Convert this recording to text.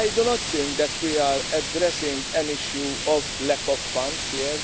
I do not think that we are addressing an issue of lack of funds here.